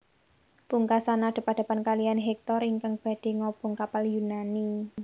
Pungkasan adep adepan kalihan Hektor ingkang badhé ngobong kapal Yunani